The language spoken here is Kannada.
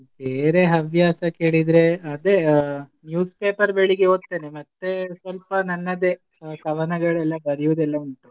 ಬೇರೆ ಹವ್ಯಾಸ ಕೇಳಿದ್ರೆ ಅದೇ ಆ newspaper ಬೆಳಿಗ್ಗೆ ಓದ್ತೇನೆ ಮತ್ತೆ ಸ್ವಲ್ಪ ನನ್ನದೇ ಕವನಗಳೆಲ್ಲ ಬರಿಯುವುದೆಲ್ಲ ಉಂಟು.